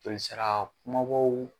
Jolisira kunbabaw.